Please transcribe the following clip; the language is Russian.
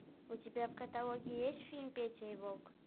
у тебя в каталоге есть фильм петя и волк